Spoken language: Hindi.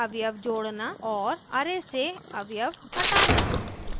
* array से अवयव हटाना